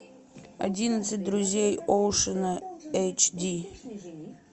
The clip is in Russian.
одиннадцать друзей оушена эйч ди